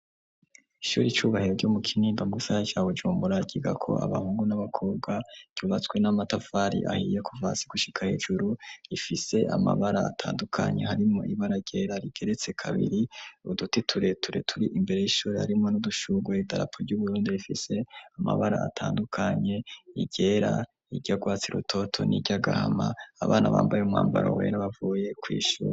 Ishuri Icubahiro ryo mu Kinindo mu gisagara ca Bujumbura, ryigako abahungu n'abakobwa, ryubatswe n'amatafari ahiye kuva hasi gushika hejuru, rifise amabara atandukanye harimwo ibara ryera rigeretse kabiri, uduti tureture turi imbere y'ishuri harimwo n'udushurwe idarapu ry'uburundi rifise amabara atandukanye, iryera, iry'urwatsi rutoto n'iryagahama, abana bambaye umwambaro wera bavuye kw'ishuri.